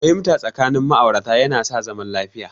Fahimta tsakanin ma'aurata ya sa zaman lafiya